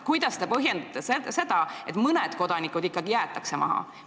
Kuidas te põhjendate seda, et mõned kodanikud ikkagi jäetakse maha?